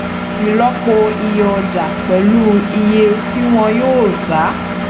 ìlọpo iye ọjà pẹlú iye tí wọn yóò ta